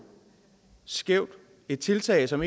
skævt et tiltag som